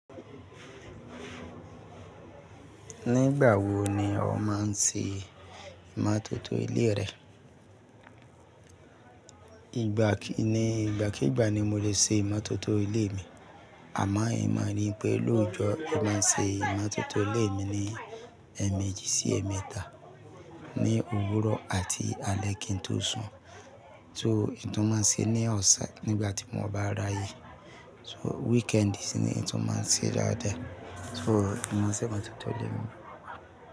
Nígbà wo ni ọ máa ń ṣe ìmátótó ilé rẹ? Ìgbà kì ní ìgbàkígbà ni mo lè ṣe ìmátótó ilé mi, àmọ́ ẹ máa rí pé lóòjọ́ ẹ máa ṣe ìmátótó ilé mi ni ẹmẹjì sí ẹ̀mẹ́ta ní òwúrọ̀ àti alé kí n tó sùn. Sò, ihn tu máa ń ṣe ní ọ̀san nígbà tí mo bá ráyè. So weekend ni sì n tó máa ń ṣe daadaa So, ìmọ̀ ṣe ìmátótó ilé mi.